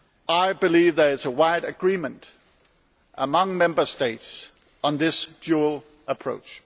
I believe that there is a wide agreement among Member States on this dual approach.